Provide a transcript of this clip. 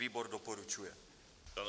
Výbor doporučuje.